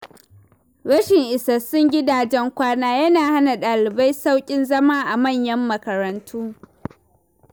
Rashin isassun gidajen kwana yana hana ɗalibai sauƙin zama a manyan makarantu.